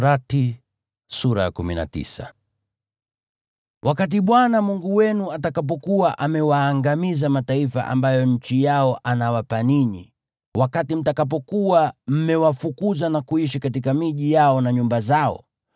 Wakati Bwana Mungu wenu atakapokuwa amewaangamiza mataifa ambayo nchi yao anawapa ninyi, wakati mtakapokuwa mmewafukuza na kuishi katika miji yao na nyumba zao,